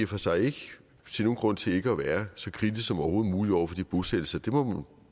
for sig ikke se nogen grund til ikke at være så kritisk som overhovedet muligt over for de bosættelser det må